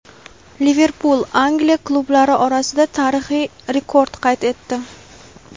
"Liverpul" Angliya klublari orasida tarixiy rekord qayd etdi.